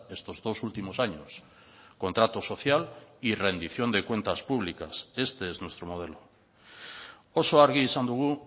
estos dos últimos años contrato social y rendición de cuentas públicas este es nuestro modelo oso argi izan dugu